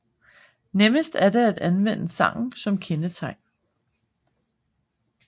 Nemmest er det at anvende sangen som kendetegn